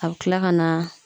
A bɛ tila ka na